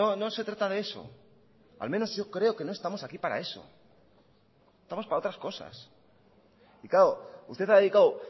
no se trata de eso al menos yo creo que no estamos aquí para eso estamos para otras cosas y claro usted ha dedicado